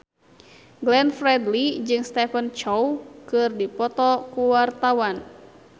Glenn Fredly jeung Stephen Chow keur dipoto ku wartawan